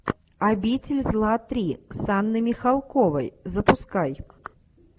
обитель зла три с анной михалковой запускай